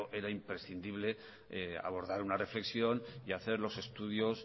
era imprescindible abordar una reflexión y hacer los estudios